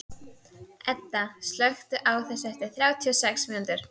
Edda, slökktu á þessu eftir þrjátíu og sex mínútur.